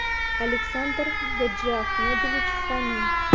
александр гаджиахмедович фомин